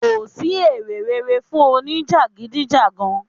Kò sì èrè rere fún òní jagidijagan.